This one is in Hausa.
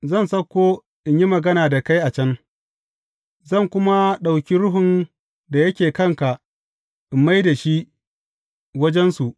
Zan sauko in yi magana da kai a can, zan kuma ɗauki Ruhun da yake kanka in mai da shi wajensu.